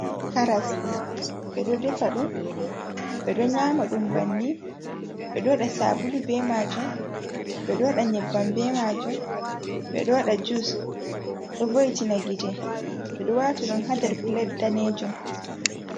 Karas ɓeɗo defa ɗum, ɓeɗo nyama ɗum banni ɓeɗo waɗa sabulu be majun, beɗo waɗa nyebbam be majun ɓeɗo waɗa jus ɗo voy tina gite ɓeɗo wati ɗum hadar pilat danejon.